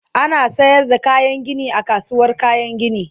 ana sayar da kayan Gini a kasuwar kayan Gini